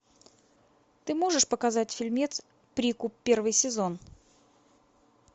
ты можешь показать фильмец прикуп первый сезон